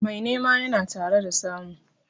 Mai nema yana tare da samu.